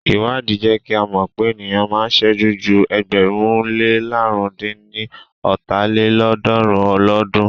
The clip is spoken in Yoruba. Ìwádìí jẹ́ kí à mọ̀ pé ènìyàn máa ń sẹ́jú ju ẹgbẹ̀rún lé làrún dín ní ọ́ta lélọ́ọ̀dúnrún lọ́dun.